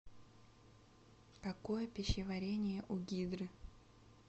какое пищеварение у гидры